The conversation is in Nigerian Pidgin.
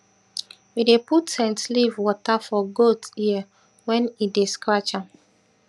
we dey put scent leaf wata for goat ear wen im dey scratch am